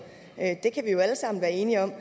det kan vi jo alle sammen være enige om